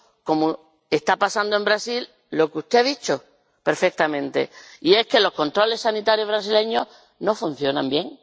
cómo está pasando en Brasil lo que usted ha dicho perfectamente, y es que los controles sanitarios brasileños no funcionan bien.